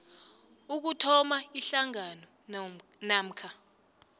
ukuthoma ihlangano namkha